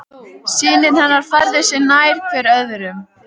Synir hennar færðu sig nær hver öðrum.